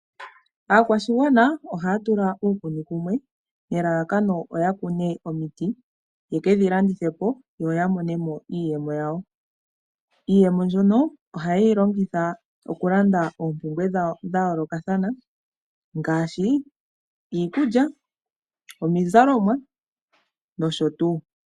Aakwashigwana ohaya tula uukuni kumwe nelalakano lyokukuna omiti ye ke dhi landithe po yo ya mone mo iiyemo yawo. Iiyemo mbyono ohaye yi longitha okulanda oompumbwe dhawo dha yoolokathana ngaashi: iikulya, iizalomwa nosho tuu.